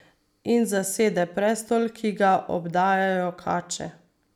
In zasede prestol, ki ga obdajajo kače.